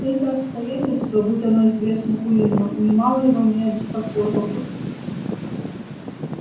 это обстоятельство будь оно известно куинну нимало его не обеспокоило бы